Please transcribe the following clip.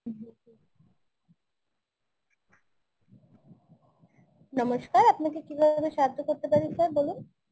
নমস্কার আপনাকে কীভাবে আমি সাহায্য করতে পারি sir বলুন?